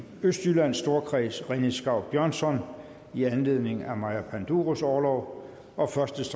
østjyllands storkreds rené skau björnsson i anledning af maja panduros orlov og første